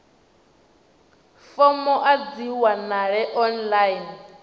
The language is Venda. fomo a dzi wanalei online